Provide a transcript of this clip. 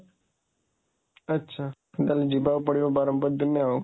ଆଛା, ତାହେଲେ ଯିବାକୁ ପଡ଼ିବ ବରହମପୁର ଦିନେ ଆଉ